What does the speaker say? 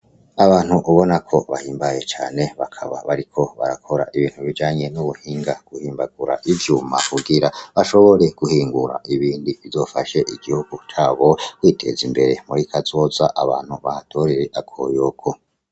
Abantu ubona ko bahimbaye cane bakaba bariko barakora ibintu bijanye n' ubuhinga guhimbagura ivyuma kugira bashobore guhingura ibindi bizofashe igihugu cabo kwiteza imbere muri kazoza abantu bahatorere akoyoko.